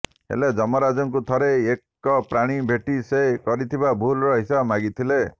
ହେଲେ ଯମରାଜଙ୍କୁ ଥରେ ଏକ ପ୍ରାଣୀ ଭେଟି ସେ କରିଥିବା ଭୁଲର ହିସାବ ମାଗିଥିଲା